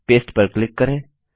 paste पर click करें